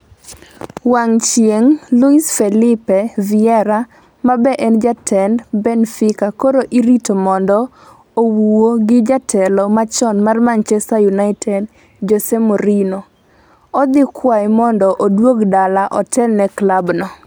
(wang' chieng') Luis Fillipe Viera ma be en jatend Benfica koro irito mondo owuo gi jatelo machon mar manchester united Jose Mourinho. odhikwaye mondo oduog dala otel ne klab no